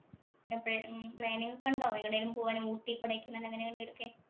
എപ്പഴാ planning ഒക്കെ ഉണ്ടോ? ഊട്ടി, കൊടൈക്കനാല് അങ്ങനെയൊക്കെ എവിടെങ്കിലുമൊക്കെ.